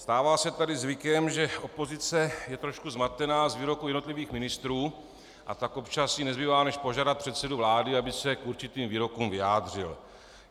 Stává se tady zvykem, že opozice je trošku zmatená z výroků jednotlivých ministrů, a tak jí občas nezbývá, než požádat předsedu vlády, aby se k určitým výrokům vyjádřil.